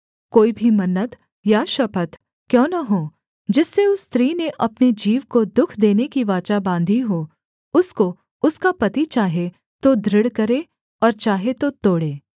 कोई भी मन्नत या शपथ क्यों न हो जिससे उस स्त्री ने अपने जीव को दुःख देने की वाचा बाँधी हो उसको उसका पति चाहे तो दृढ़ करे और चाहे तो तोड़े